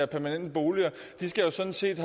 permanente boliger jo sådan set